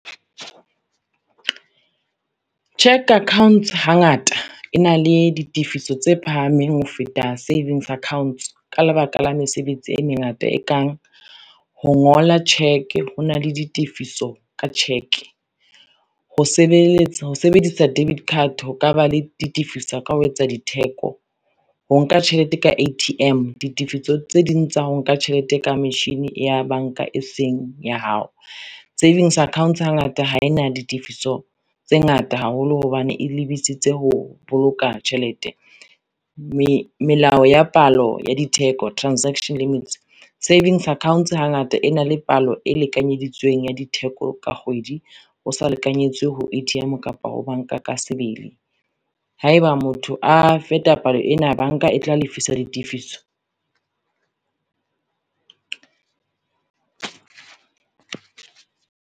Cheque account hangata e na le ditefiso tse phahameng ho feta savings accounts, ka lebaka la mesebetsi e mengata e kang ho ngola cheque ho na le ditefiso ka cjeque, ho sebedisa debit card ho ka ba le ditifiso ka ho etsa ditheko, ho nka tjhelete ka A_T_M ditifiso tse ding tsa ho nka tjhelete ka machine ya banka e seng ya hao. Savings accounts ha ngata ha ena ditifiso tse ngata haholo hobane e lebitsitse ho boloka tjhelete, melao ya palo ya di theko transaction limits. Savings accounts ha ngata e na le palo e lekanyeditsweng ya ditheko ka kgwedi o sa lekanyetswe ho A_T_M kapa ho banka ka sebele. Haeba motho a feta palo ena, banka e tla lefisa ditifiso.